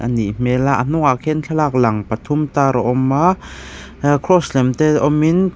nih hmela a hnungah khian thlalak lang pathum tar a awm a a cross lem te awm in.